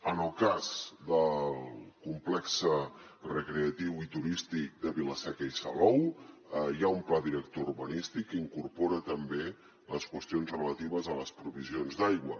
en el cas del complex recreatiu i turístic de vila seca i salou hi ha un pla director urbanístic que incorpora també les qüestions relatives a les provisions d’aigua